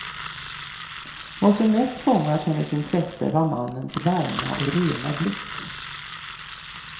Vad som mest fångat hennes intresse var mannens varma och rena blick.